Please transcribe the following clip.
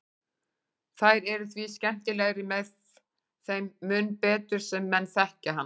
Þær eru því skemmtilegri þeim mun betur sem menn þekkja hann.